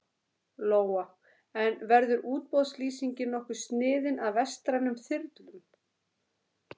Lóa: En verður útboðslýsingin nokkuð sniðin að vestrænum þyrlum?